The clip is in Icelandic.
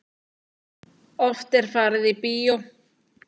Oft er farið í bíó.